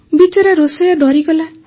ବିଚରା ରୋଷେଇୟା ଡରିଗଲା